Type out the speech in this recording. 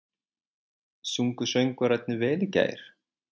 Sungu söngvararnir vel í gær?